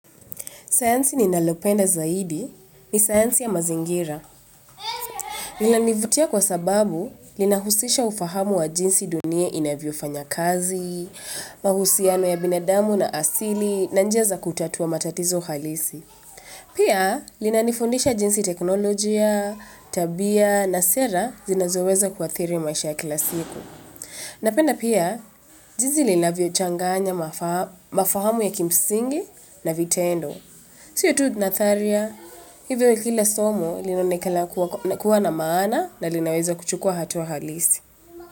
Saansi ni nalopenda zaidi ni saansi ya mazingira. Lina nivutia kwa sababu, lina husisha ufahamu wa jinsi dunia inavyo fanya kazi, mahusiano ya binadamu na asili, na njaza kutatua matatizo halisi. Pia, lina nifundisha jinsi teknolojia, tabia, na sera zinazoweza kwa thiri maisha ya kila siku. Napenda pia, jizi lina vio changanya mafahamu ya kimsingi na vitendo. Siyo tu natharia, hivyo kile somo linonekala kuwa na maana na linaweza kuchukua hatu wa halisi.